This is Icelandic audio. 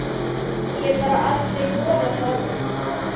Ég hef bara aldrei þorað það.